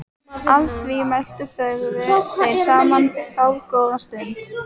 Að því mæltu þögðu þeir saman dágóða stund.